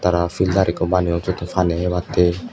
tara filter ekko baneyon siottun pani hebatte.